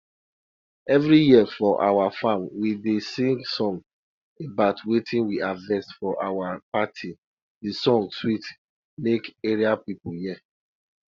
during the time wen rain dey fall well well my grandma dey sing song about how thnder spirits been help beans grow sharp sharp